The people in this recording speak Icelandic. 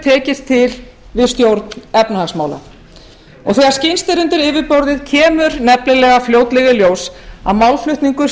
tekist til við stjórn efnahagsmála og þegar skyggnst er undir yfirborðið kemur nefnilega fljótlega í ljós að málflutningur